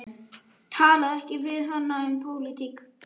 Hann lét skjóta bróður minn með köldu blóði.